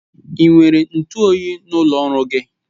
Ị nwere ntụ oyi n'ụlọ ọrụ gị?